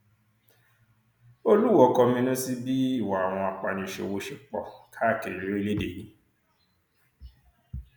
olúwọ̀ọ́ kọminú sí bí ìwà àwọn apaniṣòwò ṣe pọ káàkiri lórílẹèdè yìí